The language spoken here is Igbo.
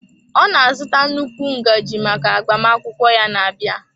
Ọ na-azụta nnukwu ngaji maka agbamakwụkwọ ya na-abịa.